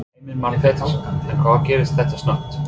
Heimir Már Pétursson: En hvað gerist þetta snöggt?